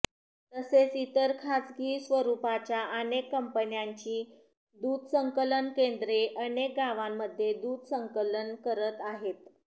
तसेच इतर खासगी स्वरुपाच्या अनेक कंपन्यांची दुध संकलन केंद्रे अनेक गावांमध्ये दूध संकलन करत आहेत